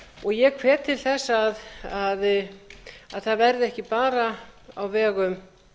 umræðu ég hvet til þess að það verði ekki bara á vegum